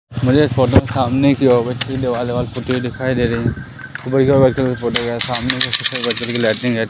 मुझे इस फोटो सामने की ओर दिखाई दे रही है। ऊपर की ओर सामने--